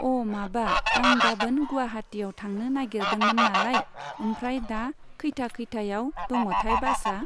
अ' माबा आं गाबोन गुवाहाटीआव थांनो नागिरदोंमोन नालाय, ओमफ्राय दा खैथा, खैथायाव दङथाय बासआ?